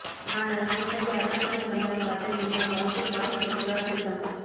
நான் அங்கிருப்பதை அருணாச்சலம் கண்ணால் காட்ட என்னை பார்த்து காவிப்பற்களால் சிரித்தான்